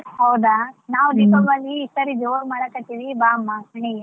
ಹೌದಾ. ನಾವ್ ದೀಪಾವಳಿ ಈ ಸರಿ ಜೋರ್ ಮಾಡಕತ್ತೀವಿ ಬಾ ಅಮ್ಮ ಮನೆಗೆ.